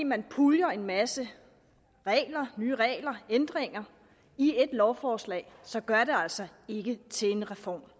man puljer en masse nye regler ændringer i ét lovforslag så gør det det altså ikke til en reform